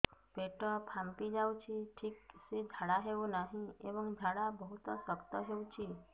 ପେଟ ଫାମ୍ପି ଯାଉଛି ଠିକ ସେ ଝାଡା ହେଉନାହିଁ ଏବଂ ଝାଡା ବହୁତ ଶକ୍ତ ହେଉଛି